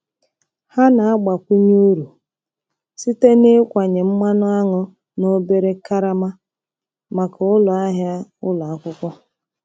Ha na-agbakwunye uru site na ịkwanye mmanụ aṅụ na obere karama maka ụlọ ahịa ụlọ akwụkwọ.